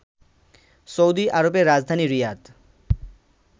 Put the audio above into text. Saudi আরবের রাজধানী রিয়াদ